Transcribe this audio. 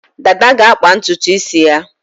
Dada ga-akpa ntutu isi ya.